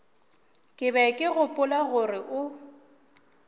be ke gopola gore o